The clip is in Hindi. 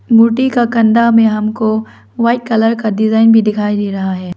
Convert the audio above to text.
मूर्ति का कंधा में हमको व्हाइट कलर का डिजाइन भी दिखाई दे रहा है।